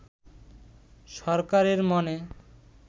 সরকারের মনে